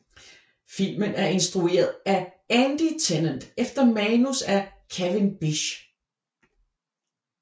Filmen er instrueret af Andy Tennant efter manus af Kevin Bisch